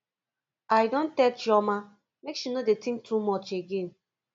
i don tell chioma make she no dey think too much again